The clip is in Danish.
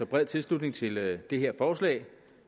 bred tilslutning til det det her forslag